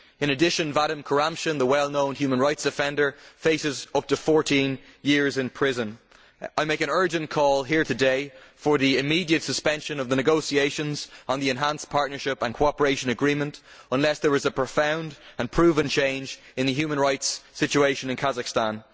In addition, Vadim Kuramshin, the well known human rights defender, faces up to fourteen years in prison. I make an urgent call here today for the immediate suspension of the negotiations on the enhanced partnership and cooperation agreement unless there is a profound and proven change in the human rights situation in Kazakhstan.